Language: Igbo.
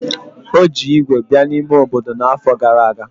O ji ígwè bịa n'ime obodo n'afọ gara aga.